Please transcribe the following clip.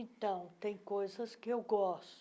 Então, tem coisas que eu gosto.